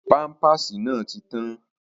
Pámpàsì náà ti tán